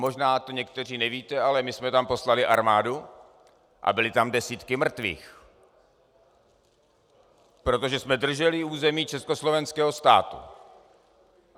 Možná to někteří nevíte, ale my jsme tam poslali armádu a byly tam desítky mrtvých, protože jsme drželi území československého státu.